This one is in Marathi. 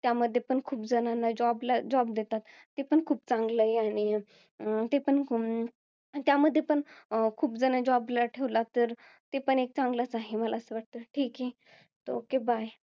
त्यामध्ये पण खूप जनांना job ला~ job देतात. ते पण खूप चांगलं आहे. आणि ते पण कोण. त्यामध्ये पण अं खूप जण job ला ठेवलं तर ते पण एक चांगलच आहे. मला असं वाटतं. ठीके, okay bye